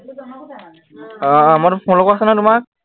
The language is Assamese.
আহ মই তাত follow কৰিছে নহয় তোমাৰ